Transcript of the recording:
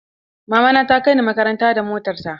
Mama na ta kai ni makaranta da motar ta.